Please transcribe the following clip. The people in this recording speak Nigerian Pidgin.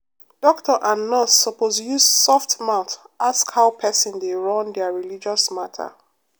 doctor and nurse suppose use soft mouth ask how person dey run their religious matter